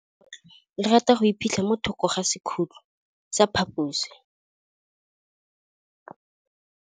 Legôtlô le rata go iphitlha mo thokô ga sekhutlo sa phaposi.